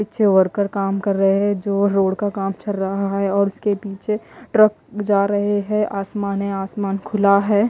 पीछे वर्कर काम कर रहे हैं जो रोड का काम चल रहा है और उसके पीछे ट्रक जा रहे हैं आसमान है आसमान खुला है।